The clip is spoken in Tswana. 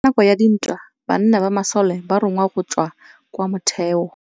Ka nakô ya dintwa banna ba masole ba rongwa go tswa kwa mothêô.